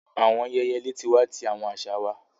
Awọn ayẹyẹ leti wa ti awọn aṣa wa